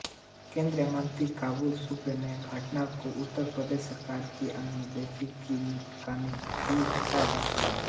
केंद्रीय मंत्री बाबुल सुप्रियो ने घटना को उत्तर प्रदेश सरकार की अनदेखी का नतीजा बताया